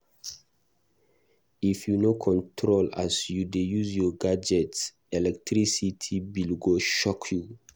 If you no control as you dey use your gadget, electricity bill go shock you.